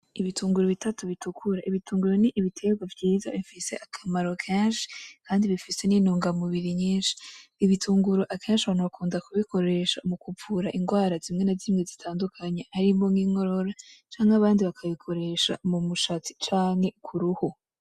Ibitunguru bitatu bitukura, ibitunguru ni ibitegwa vyiza bifise akamaro kenshi kandi bifise n'intunga mubiri nyinshi, ibitunguru akenshi abantu bakunda kubikoresha mu kuvura ingwara zimwe na zimwe zitandukanye, harimwo nk'inkorora; canke abandi bakabikoresha mu mushatsi; canke kuruhu.